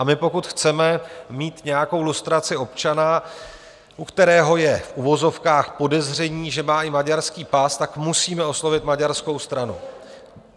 A pokud my chceme mít nějakou lustraci občana, u kterého je v uvozovkách podezření, že má i maďarský pas, tak musíme oslovit maďarskou stranu.